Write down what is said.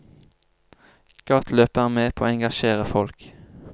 Gateløpet er med på å engasjere folk.